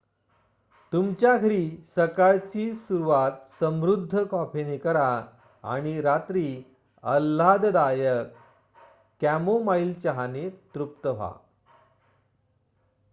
तुमच्या घरी सकाळची सुरुवात समृद्ध कॉफीने करा आणि रात्री आल्हाददायक कॅमोमाइल चहाने तृप्त व्हा